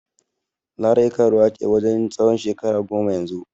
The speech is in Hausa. Larai karuwa ce wajen tsawon shekara goma yanzu.